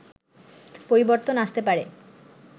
পরিবর্তন আসতে পারে